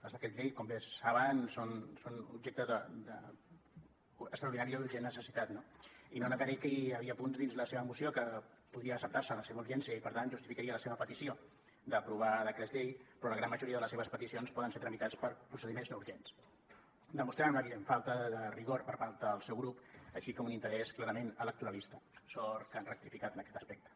els decrets llei com bé saben són objecte d’extraordinària i urgent necessitat no i no negaré que hi havia punts dins la seva moció que podria acceptar se la seva urgència i per tant justificaria la seva petició d’aprovar decrets llei però la gran majoria de les seves peticions poden ser tramitades per procediments no urgents el que demostra una evident falta de rigor per part del seu grup així com un interès clarament electoralista sort que han rectificat en aquest aspecte